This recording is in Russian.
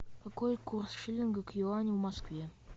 какой курс шиллинга к юаню в москве